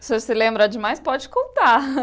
o senhor se lembra de mais pode contar.